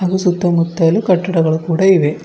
ಇಲ್ಲಿ ಸುತ್ತಮುತ್ತಲು ಕಟ್ಟಡಗಳು ಕೂಡ ಇವೆ.